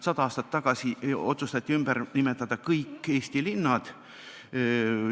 Sada aastat tagasi otsustati ümber nimetada kõik Eesti linnad.